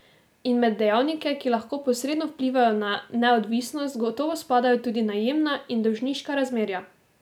In med dejavnike, ki lahko posredno vplivajo na neodvisnost, gotovo spadajo tudi najemna in dolžniška razmerja.